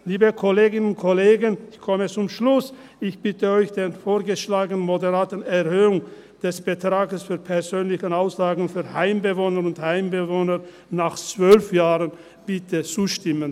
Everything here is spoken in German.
– Liebe Kolleginnen und Kollegen – ich komme zum Schluss –, ich bitte Sie, der vorgeschlagenen moderaten Erhöhung des Betrags für persönliche Auslagen für Heimbewohnerinnen und Heimbewohner nach 12 Jahren zuzustimmen.